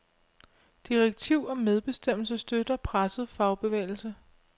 Direktiv om medbestemmelse støtter presset fagbevægelse.